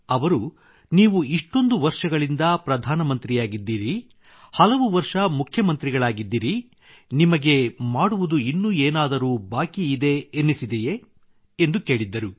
ಅವರು ನೀವು ಇಷ್ಟೊಂದು ವರ್ಷಗಳಿಂದ ಪ್ರಧಾನಮಂತ್ರಿಯಾಗಿದ್ದೀರಿ ಹಲವು ವರ್ಷ ಮುಖ್ಯಮಂತ್ರಿಗಳಾಗಿದ್ದಿರಿ ನಿಮಗೆ ಮಾಡುವುದು ಇನ್ನೂ ಏನಾದರೂ ಬಾಕಿಯಿದೆ ಎಂದೆನ್ನಿಸಿದೆಯೇ ಎಂದು ಕೇಳಿದ್ದರು